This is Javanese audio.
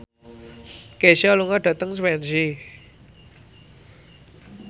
Kesha lunga dhateng Swansea